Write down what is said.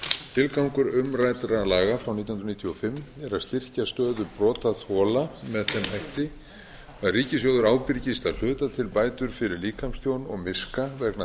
tilgangur umræddra laga frá nítján hundruð níutíu og fimm er að styrkja stöðu brotaþola með þeim hætti að ríkissjóður ábyrgist að hluta til bætur fyrir líkamstjón og miska vegna